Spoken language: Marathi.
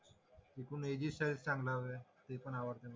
ती पण आवडते मला